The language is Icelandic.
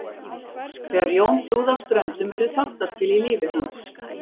Þegar Jón flúði af Ströndum urðu þáttaskil í lífi hans.